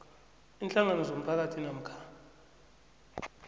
iinhlangano zomphakathi namkha